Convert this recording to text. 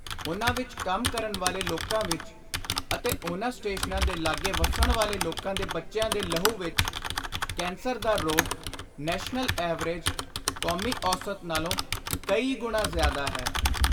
ਉਨ੍ਹਾਂ ਵਿਚ ਕੰਮ ਕਰਨ ਵਾਲੇ ਲੋਕਾਂ ਵਿਚ ਅਤੇ ਉਨ੍ਹਾਂ ਸਟੇਸ਼ਨਾਂ ਦੇ ਲਾਗੇ ਵੱਸਣ ਵਾਲੇ ਲੋਕਾਂ ਦੇ ਬੱਚਿਆਂ ਦੇ ਲਹੁ ਵਿਚ ਕੈਂਸਰ ਦਾ ਰੋਗ ਨੈਸ਼ਨਲ ਐਵਰੇਜ (ਕੌਮੀ ਔਸਤ) ਨਾਲੋਂ ਕਈ ਗੁਣਾ ਜ਼ਿਆਦਾ ਹੈ।